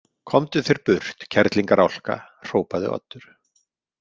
Komdu þér burt, kerlingarálka, hrópaði Oddur.